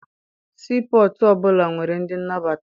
Sii pọtụ ọbụla nwere ndị nnabata.